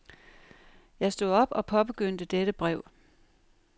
Jeg stod op og påbegyndte dette brev.